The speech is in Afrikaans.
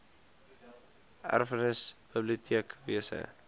erfenis biblioteek wese